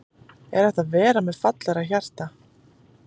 Er hægt að vera með fallegra hjarta?